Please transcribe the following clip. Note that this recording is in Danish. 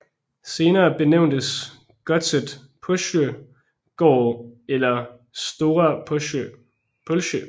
Senere benævntes godset Pålsjö gård eller Stora Pålsjö